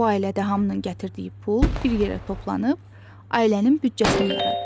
Bu ailədə hamının gətirdiyi pul bir yerə toplanıb ailənin büdcəsini yaradır.